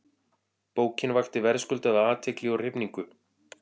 Bókin vakti verðskuldaða athygli og hrifningu.